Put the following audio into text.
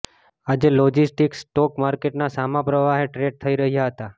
આજે logistics stock માર્કેટના સામા પ્રવાહે ટ્રેડ થઇ રહ્યાં હતા